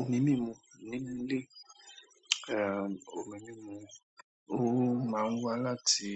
Omi mímu nílé, eh omi mímu ó máa ń wá láti